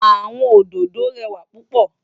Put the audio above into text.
Awòn ódõdó rèwá púpò